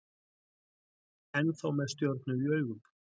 Ennþá með stjörnur í augum